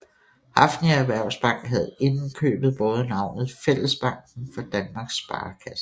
Hafnia Erhvervsbank havde inden købet båret navnet Fællesbanken for Danmarks Sparekasser